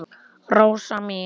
Rósu mína.